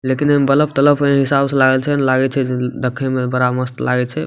लेकिन ओय मे बल्ब तलब ए शीशा उसा लागल छै लागे छै जे देखे मे ए बड़ा मस्त लागे छै।